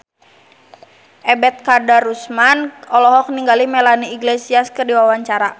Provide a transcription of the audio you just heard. Ebet Kadarusman olohok ningali Melanie Iglesias keur diwawancara